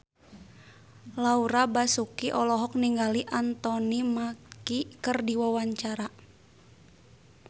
Laura Basuki olohok ningali Anthony Mackie keur diwawancara